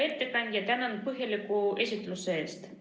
Hea ettekandja, tänan põhjaliku esitluse eest!